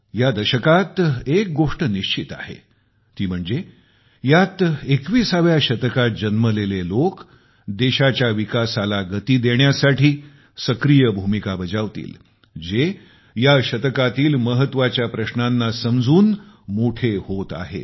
या दशकात एक गोष्ट निश्चित आहे ती म्हणजे यात 21 व्या शतकात जन्मलेले लोक देशाच्या विकासाला गती देण्यास सक्रिय भूमिका बजावतील जे या शतकातील महत्त्वाच्या प्रश्नांना समजून मोठे होत आहेत